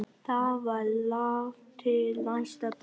Það var langt til næsta bæjar.